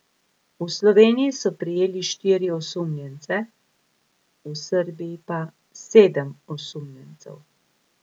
V Sloveniji so prijeli štiri osumljence, v Srbiji pa sedem osumljencev.